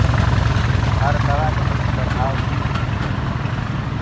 हर दवा के दुष्प्रभाव भिन्न भिन्न होते हैं